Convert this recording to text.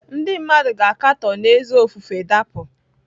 Ndị mmadụ ga-akatọ n’ezi ofufe dapụ.